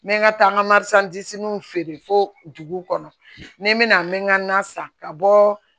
N bɛ n ka taa n ka feere fo dugu kɔnɔ ni n bɛna n bɛ ka n na san ka bɔ